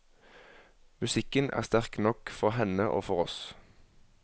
Musikken er sterk nok for henne og for oss.